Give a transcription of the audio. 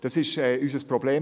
Das ist unser Problem.